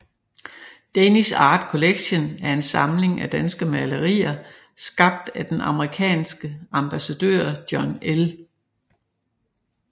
Danish Art Collection er en samling af danske malerier skabt af den amerikanske ambassadør John L